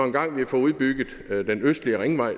engang får udbygget den østlige ringvej